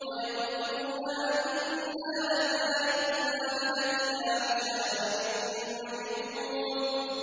وَيَقُولُونَ أَئِنَّا لَتَارِكُو آلِهَتِنَا لِشَاعِرٍ مَّجْنُونٍ